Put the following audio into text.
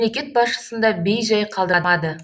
мемлекет басшысын да бей жай қалдырмады